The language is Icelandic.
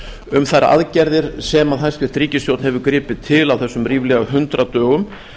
um þær aðgerðir sem hæstvirt ríkisstjórn hefur gripið til á þessum ríflega hundrað dögum